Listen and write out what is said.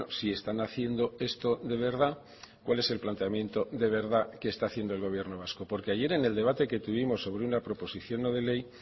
si están haciendo esto de verdad cuál es el planteamiento de verdad que está haciendo el gobierno vasco porque ayer en el debate que tuvimos sobre una proposición no de ley